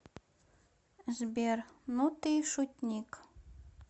сбер ну ты и шутник